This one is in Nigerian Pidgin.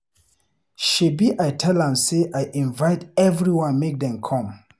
Shebi I tell am say I invite everyone make dem come